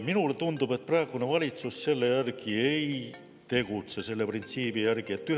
Minule tundub, et praegune valitsus selle printsiibi järgi ei tegutse.